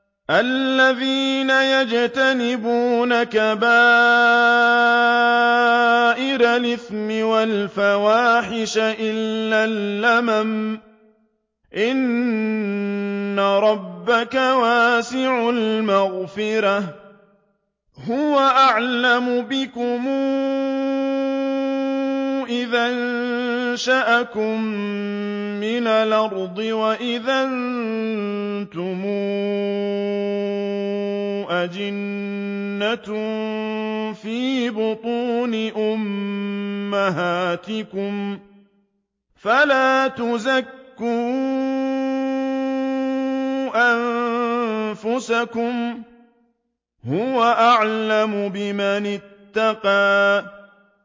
الَّذِينَ يَجْتَنِبُونَ كَبَائِرَ الْإِثْمِ وَالْفَوَاحِشَ إِلَّا اللَّمَمَ ۚ إِنَّ رَبَّكَ وَاسِعُ الْمَغْفِرَةِ ۚ هُوَ أَعْلَمُ بِكُمْ إِذْ أَنشَأَكُم مِّنَ الْأَرْضِ وَإِذْ أَنتُمْ أَجِنَّةٌ فِي بُطُونِ أُمَّهَاتِكُمْ ۖ فَلَا تُزَكُّوا أَنفُسَكُمْ ۖ هُوَ أَعْلَمُ بِمَنِ اتَّقَىٰ